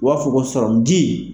U b'a f'o ma sɔrɔmunji.